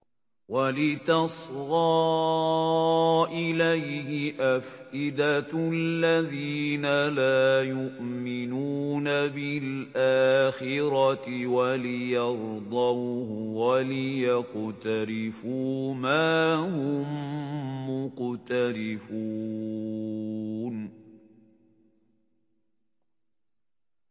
وَلِتَصْغَىٰ إِلَيْهِ أَفْئِدَةُ الَّذِينَ لَا يُؤْمِنُونَ بِالْآخِرَةِ وَلِيَرْضَوْهُ وَلِيَقْتَرِفُوا مَا هُم مُّقْتَرِفُونَ